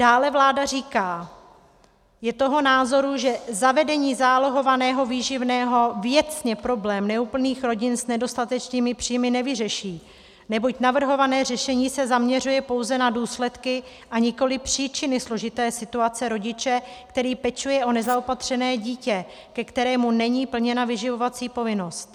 Dále vláda říká, je toho názoru, že zavedení zálohovaného výživného věcně problém neúplných rodin s nedostatečnými příjmy nevyřeší, neboť navrhované řešení se zaměřuje pouze na důsledky a nikoli příčiny složité situace rodiče, který pečuje o nezaopatřené dítě, ke kterému není plněna vyživovací povinnost.